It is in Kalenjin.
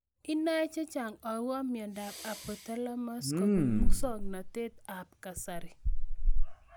Inae chechang' akopo miondop Anophthalmos kopun muswog'natet ab kasari